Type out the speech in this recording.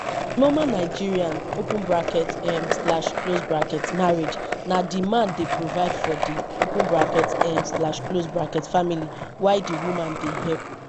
for normal nigerian um marriage na di man dey provide for di um family while di woman dey help